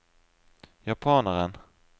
japaneren